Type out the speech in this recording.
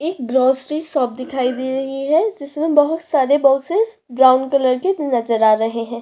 एक grocery shop दिखाई दे रही हैं जिसमे बोहोत सारे बॉक्सेस ब्राउन कलर के नज़र आ रहै हैं।